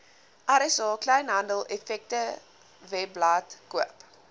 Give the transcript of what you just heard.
rsa kleinhandeleffektewebblad koop